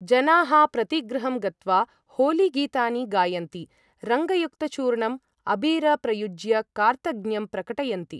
जनाः प्रतिगृहं गत्वा होलीगीतानि गायन्ति, रङ्गयुक्तचूर्णं अबीर प्रयुज्य कार्तज्ञ्यं प्रकटयन्ति।